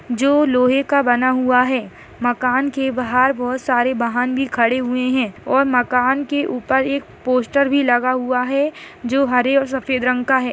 --जो लोहे का बना हुआ है मकान के बाहर बहुत सारे बाहन भी खड़े हुए है और मकान के उपर एक पोस्टर भी लगा हुआ है जो हरे और सफ़ेद रंग का है।